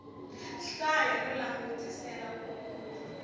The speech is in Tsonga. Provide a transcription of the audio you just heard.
hlaya no langutisela ku kuma